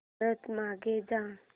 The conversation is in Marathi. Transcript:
परत मागे जा